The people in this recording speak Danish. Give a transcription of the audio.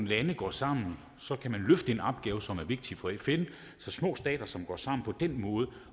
lande går sammen kan man løfte en opgave som er vigtig for fn så små stater som går sammen på den måde